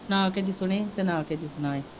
ਨਾਂ ਕਿਸੇ ਦੀ ਸੁਣੋ ਨਾ ਕਿਸੇ ਦੀ ਸੁਣਾਉ।